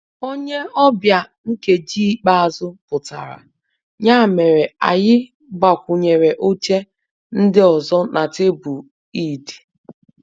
Onye ọbịa nkeji ikpeazụ pụtara, ya mere anyị gbakwunyere oche ndị ọzọ na tebụl Eid